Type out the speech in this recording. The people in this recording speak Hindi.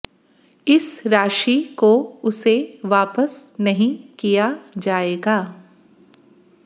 इस राशि को उसे वापस नहीं किया जायेगा